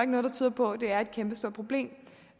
noget der tyder på at det er et kæmpestort problem